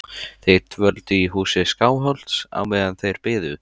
Þeir dvöldu í húsi Skálholts á meðan þeir biðu.